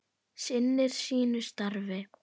Sinnir sínu starfi.